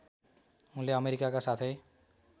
उनले अमेरिकाका साथै